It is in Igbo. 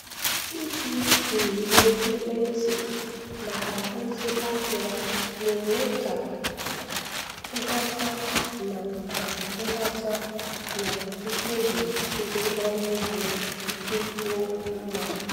Ịji nyiwe ekwentị maka ozi ahịa na-eme ka nghọta na ka nghọta na mkpebi ndị ọrụ ugbo dịkwuo mma.